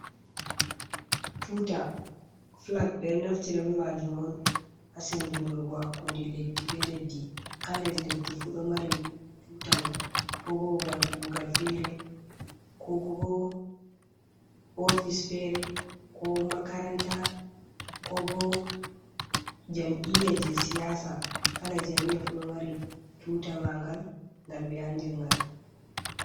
Tuuta fulag, ɓe ɗo naftira be maajum on, haa senndundurgo hakkunde leddi be leddi, kala leddi fu ɗo mari tuuta mum, ko bo babal kuugal feere, ko bo ofis feere, ko makaranta, ko bo jam'iya jey siyaasa, kala jam'iya fu, ɗo mari tuuta maagal, ngal ɓe anndiri ngal.